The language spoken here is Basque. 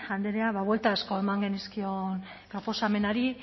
andrea ba buelta asko eman genizkion proposamenari